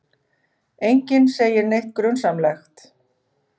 Enginn segir neitt grunsamlegt.